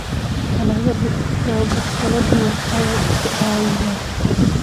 dalagyadu siyaabo kala duwan ayay u caawiyaan